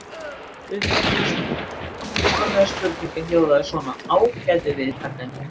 Upphaflega spurningin hljóðaði svona: Ágætu viðtakendur.